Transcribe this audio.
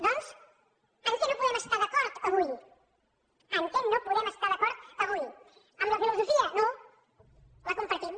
doncs en què no podem estar d’acord avui en què no podem estar d’acord avui en la filosofia no la compartim